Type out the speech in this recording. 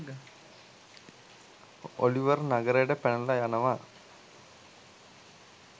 Oliver නගරයට පැනලා යනවා